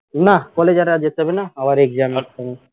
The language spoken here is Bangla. না college এ আর যেতে হবে না আবার exam এর সময়